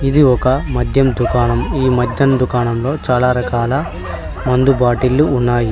ఇది ఒక మద్యం దుకాణం ఈ మద్యం దుకాణంలో చాలా రకాల మందు బాటిల్లు ఉన్నాయి.